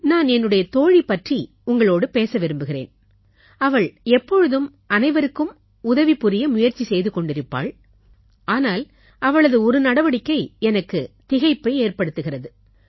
நான் என்னுடைய தோழி பற்றி உங்களோடு பேச விரும்புகிறேன் அவள் எப்பொழுதும் அனைவருக்கும் உதவி புரிய முயற்சி செய்து கொண்டிருப்பாள் ஆனால் அவளது ஒரு நடவடிக்கை எனக்கு திகைப்பை ஏற்படுத்துகிறது